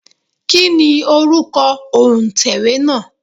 Kí ni orúkọ òǹtẹ̀wé náà?